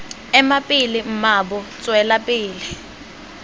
ema pele mmaabo tswela pele